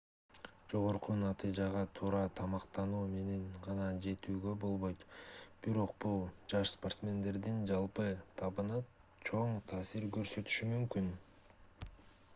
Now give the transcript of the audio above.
жогорку натыйжага туура тамактануу менен гана жетүүгө болбойт бирок бул жаш спортсмендердин жалпы табына чоң таасир көрсөтүшү мүмкүн